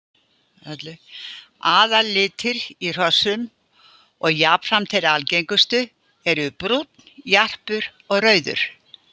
Aðallitir í hrossum og jafnframt þeir algengustu eru brúnn, jarpur og rauður.